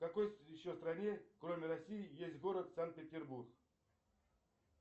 в какой еще стране кроме россии есть город санкт петербург